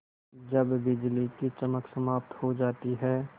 जब बिजली की चमक समाप्त हो जाती है